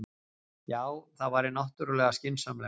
Já, það væri náttúrlega skynsamlegast.